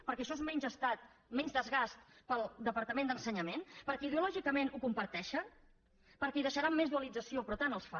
perquè això és menys estat menys desgast per al departament d’ensenyament perquè ideològicament ho comparteixen perquè hi deixaran més dualització però tant els fa